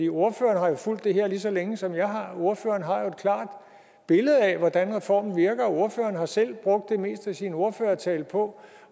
ordføreren har jo fulgt det her lige så længe som jeg har og ordføreren har et klart billede af hvordan reformen virker og ordføreren har selv brugt det meste af sin ordførertale på